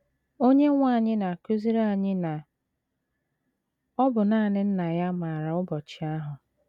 Onyenwe anyị na - akụziri anyị na ọ bụ nanị Nna ya maara ụbọchị ahụ.